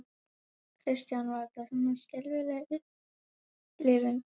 Kristján: Var þetta svona skelfileg upplifun?